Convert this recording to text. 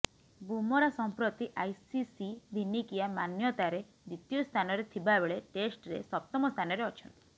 ବୁମରା ସଂପ୍ରତି ଆଇସିସି ଦିନିକିଆ ମାନ୍ୟତାରେ ଦ୍ୱିତୀୟ ସ୍ଥାନରେ ଥିବା ବେଳେ ଟେଷ୍ଟରେ ସପ୍ତମ ସ୍ଥାନରେ ଅଛନ୍ତି